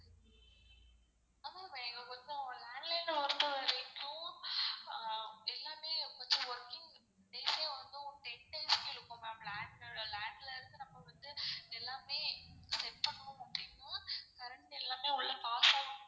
landline எல்லாமே working days ஏ வந்து ten days க்கு இழுக்கும் ma'am land land ல இருந்து நம்ப வந்து எல்லாமே set பண்ணனும் அப்டின்னா current எல்லாமே உள்ள pass ஆகனும்.